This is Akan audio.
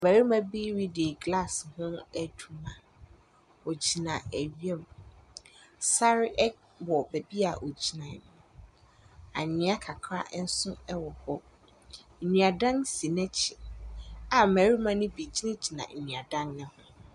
Barima bi redi glass ho adwuma, ogyina awia mu, sar ɛwɔ beebi a ogyina no, anwea kakra nso wɔ hɔ, nnuadan si n’akyi a mmarima ne bi gyinagyina nnuadan ne ho.